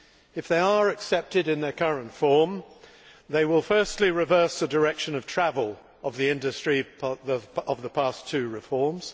If they are accepted in their current form, they will, firstly, reverse the direction of travel of the industry over the past two reforms.